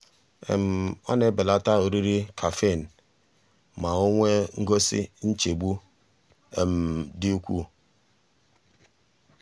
ọ na-ebelata oriri caffeine um ma o nwee ngosi nchegbu um dị ukwuu.